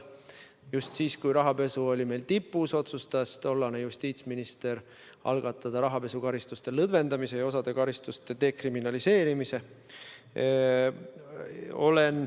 Just siis, kui rahapesu oli meil tipus, otsustas tollane justiitsminister algatada rahapesukaristuste lõdvendamise ja osa karistuste dekriminaliseerimise.